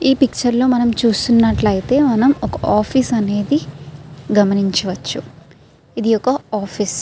ఈ పిక్చర్ లో మనం చూస్తున్నట్లయితే మనం ఒక ఆఫీస్ అనేది గమనించవచ్చు. ఇది ఒక ఆఫీస్ .